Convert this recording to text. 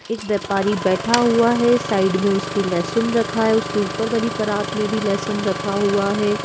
एक व्यापारी बैठा हुआ है साइड में उसके लहसुन रखा है उसके ऊपर वाली परात में भी लहसुन रखा हुआ है।